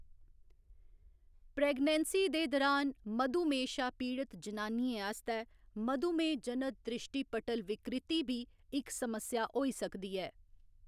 Pregnancy दे दुरान मधुमेह्‌‌ शा पीड़त जनानियें आस्तै मधुमेह्‌‌ जनित दृष्टिपटल विकृति बी इक समस्या होई सकदी ऐ।